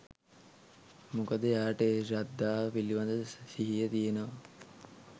මොකද එයාට ඒ ශ්‍රද්ධාව පිළිබඳ සිහිය තියෙනවා.